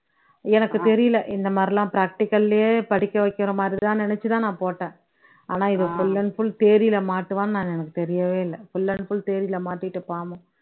எனக்கு தெரியல இந்த மாதிரிலாம் practical லயே படிக்க வைக்கிற மாதிரி தான் நினைச்சு தான் நான் போட்டேன் ஆனா இவன் full and full theory ல மாட்டுவான்னு நான் எனக்கு தெரியவே இல்ல full and full theory ல மாட்டிட்டு பாவம்